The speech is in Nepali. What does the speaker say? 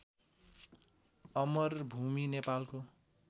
अमरभुमी नेपालको